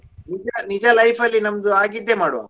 ನಿಜ ನಿಜ life ಲ್ಲಿ ನಮ್ದು ಅಗಿದ್ದೇ ಮಾಡುವಾ.